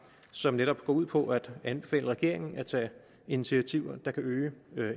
som netop går ud på at anbefale regeringen at tage initiativer der kan øge